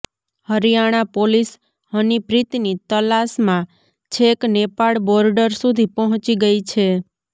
Haryana police હનીપ્રીતની તલાશમાં છેક નેપાળ બોર્ડર સુધી પહોંચી ગઈ છે